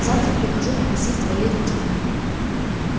завтра прихожу просить твоей руки